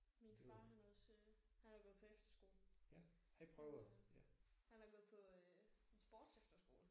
Min far han har også han har gået på efterskole. Han har gået på en sportsefterskole